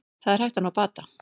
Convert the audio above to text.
Það er hægt að ná bata